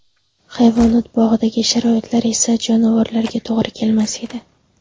Hayvonot bog‘idagi sharoitlar esa jonivorlarga to‘g‘ri kelmas edi.